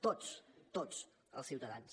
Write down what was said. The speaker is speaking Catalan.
tots tots els ciutadans